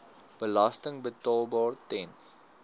belasting betaalbaar ten